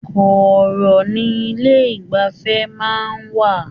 Kọọrọ ní ilé igbafẹ̀ máa n wà.